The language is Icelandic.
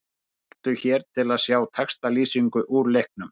Smelltu hér til að sjá textalýsingu úr leiknum